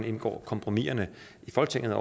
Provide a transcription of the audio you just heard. indgår kompromiserne i folketinget